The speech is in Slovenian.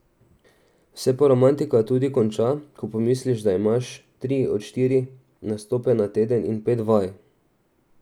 Se pa romantika tudi konča, ko pomisliš, da imaš tri do štiri nastope na teden in pet vaj.